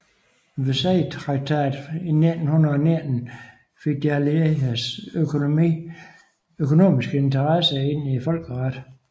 Versaillestraktaten i 1919 fik de allieredes økonomiske interesser ind i folkeretten